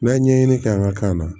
N'a ye ɲɛɲini kɛ an ka kan na